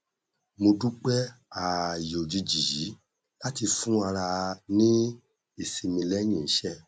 mo dúpẹ ààyè òjijì yìí láti fún ara ní ìsinmi lẹyìn iṣẹ